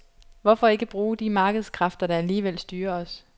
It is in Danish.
Hvorfor ikke bruge de markedskræfter, der alligevel styrer os.